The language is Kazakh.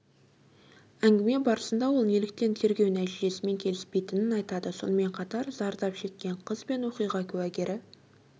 әңгіме барысында ол неліктен тергеу нәтижесімен келіспейтінін айтады сонымен қатар зардап шеккен қыз бен оқиға куәгері